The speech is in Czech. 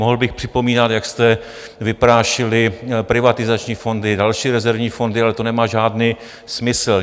Mohl bych připomínat, jak jste vyprášili privatizační fondy, další rezervní fondy, ale to nemá žádný smysl.